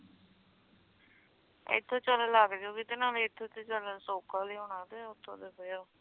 ਇਥੋਂ ਚਲਣ ਲੱਗ ਜੁ ਗਈ ਤੇ ਨਾਲੇ ਇਥੋਂ ਤਾ ਚਾਲ ਸੌਖਾ ਲਯੋਨਾ ਤੇ ਓਥੋਂ ਤਾ ਫੇਰ